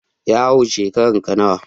Yaro, shekaranka nawa?